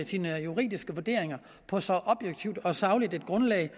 sine juridiske vurderinger på så objektivt og sagligt et grundlag